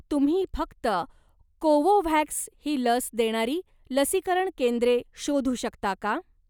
तुम्ही फक्त कोवोव्हॅक्स ही लस देणारी लसीकरण केंद्रे शोधू शकता का?